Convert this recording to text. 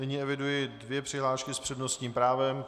Nyní eviduji dvě přihlášky s přednostním právem.